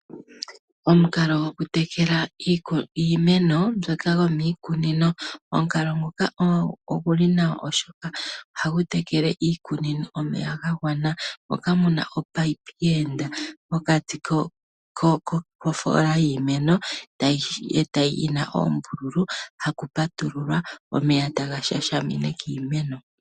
Omukalo gokutekela iimeno mbyoka yomiikunino, omukalo nguka ogu li nawa oshoka oha gu tekele iikunino omeya ga gwana ngoka mu na omunino gweenda pokati kofoola yiimeno yi na oombululu haku patululwa omeya taga shashamine kiimeno.